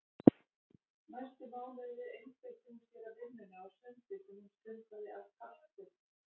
Næstu mánuði einbeitti hún sér að vinnunni og sundi sem hún stundaði af kappi.